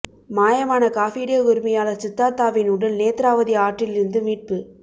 மாயமான coffee day உரிமையாளர் சித்தார்த்தாவின் உடல் நேத்ராவதி ஆற்றிலிருந்து மீட்பு